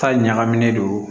Ta ɲagamin don